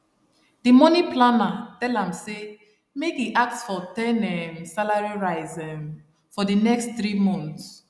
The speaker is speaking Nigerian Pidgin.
d money planner tell am say make e ask for ten um salary rise um for d next three months